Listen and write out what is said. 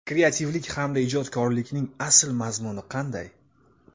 Kreativlik hamda ijodkorlikning asl mazmuni qanday?